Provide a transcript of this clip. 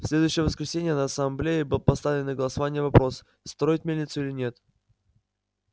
в следующее воскресенье на ассамблее был поставлен на голосование вопрос строить мельницу или нет